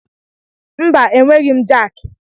Mba, e nweghị m jaaki.